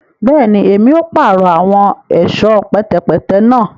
Bẹẹni, Èmí o parọ awọn ẹṣọ pẹtẹpẹtẹ náà